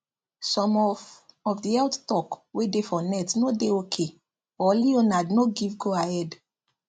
some of of the health talk wey dey for net no dey ok or leonard no give goahead